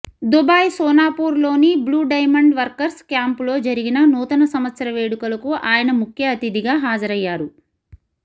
Dubai Sonapur లోని blue diamond workers camp లో జరిగిన నూతన సంవత్సర వేడుకలకు ఆయన ముఖ్యఅతిధిగా హాజరయ్యారు